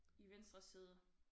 I venstre side